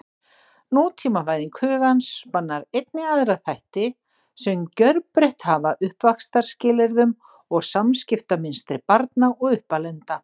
Nútímavæðing hugans spannar einnig aðra þætti, sem gjörbreytt hafa uppvaxtarskilyrðum og samskiptamynstri barna og uppalenda.